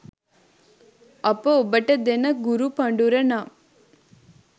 අප ඔබට දෙන ගුරු පඬුර නම්